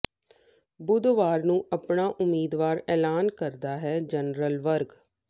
ਬੁੱਧਵਾਰ ਨੰੂ ਆਪਣਾ ਉਮੀਦਵਾਰ ਐਲਾਨ ਸਕਦਾ ਹੈ ਜਨਰਲ ਵਰਗ